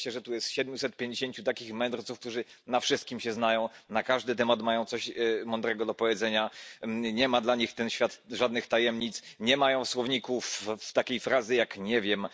Cieszę się, że tu jest siedmiuset pięćdziesięciu takich mędrców, którzy na wszystkim się znają, na każdy temat mają coś mądrego do powiedzenia, nie ma dla nich ten świat żadnych tajemnic, nie mają w słownikach takiej frazy, jak nie wiem.